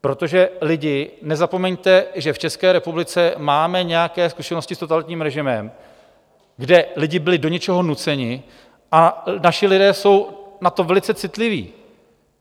Protože lidi, nezapomeňte, že v České republice máme nějaké zkušenosti s totalitním režimem, kde lidi byli do něčeho nuceni, a naši lidé jsou na to velice citliví.